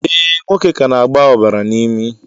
Ee, nwoke ka na-agba ọbara n'imi